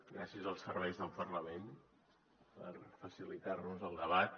gràcies als serveis del parlament per facilitar nos el debat